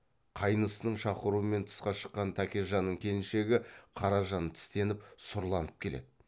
қайнысының шақыруымен тысқа шыққан тәкежанның келіншегі қаражан тістеніп сұрланып келеді